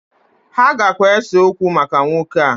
Ha gakwa ese okwo maka nwoke a